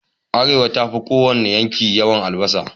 Arewa ta fi ko wane yanki yawan albasa